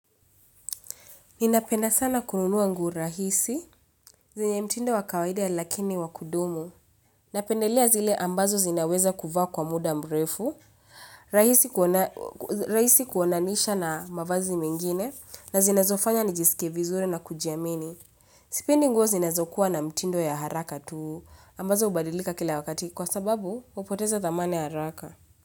Ninapenda sana kununua nguo rahisi, zenye mtindo wa kawaida lakini wa kudumu. Napendelia zile ambazo zinaweza kuvaa kwa muda mrefu, rahisi kuonaniisha na mavazi mengine na zinazofanya nijisike vizure na kujiamini. Sipendi nguo zinazokuwa na mtindo ya haraka tuu ambazo hubadilika kila wakati kwa sababu hupoteza thamani ya haraka.